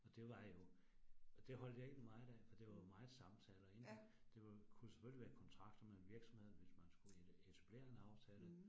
Og det var jo, og det holdt jeg egentlig meget af, for det var jo meget samtaler ik, det var jo, det kunne selvfølgelig være kontrakter med virksomheden, hvis man skulle etablere en aftale